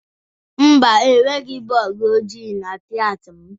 Mba, enweghị bọọdụ ojii na klaasị m.